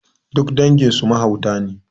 Duk dangin su mahauta ne